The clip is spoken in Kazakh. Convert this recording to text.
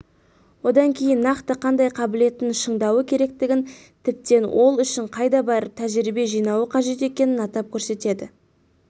одан кейін нақты қандай қабілетін шыңдауы керектігін тіптен ол үшін қайда барып тәжірибе жинауы қажет екенін атап көрсетеді